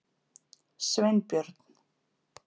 Sveinbjörn